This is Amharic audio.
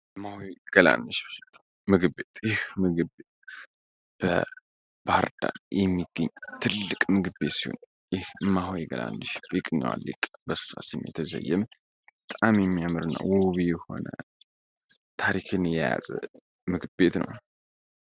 እማሆይ ገላነሽ ምግብ ቤት ይህ ምግብ ቤት በባህር ዳር ከተማ የሚገኝ ትልቅ ምግቤ ሲሆን ይህ እማሆይ ገላነሽ ምግብ ቤት ም የተሰየመ በጣም የሚያምርና ውብ የሆነ ታሪክን የያዘ ምግብ ቤት ነው።